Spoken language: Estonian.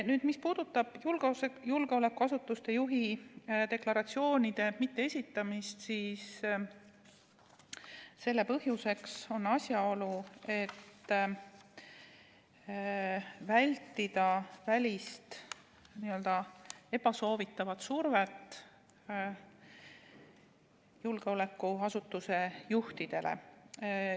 Nüüd, mis puudutab julgeolekuasutuse juhi deklaratsiooni mitteesitamist – selle põhjuseks on soov vältida välist, n-ö ebasoovitavat survet julgeolekuasutuse juhile.